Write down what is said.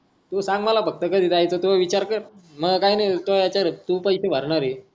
तु सांग मला फक्त कधी जायचं त्यो विचार कर मला काही नाही तुझ्या याचवर आहे तु पैसे भरणार आहे